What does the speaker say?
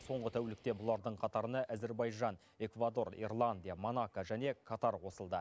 соңғы тәулікте бұлардың қатарына әзербайжан эквадор ирландия монако және катар қосылды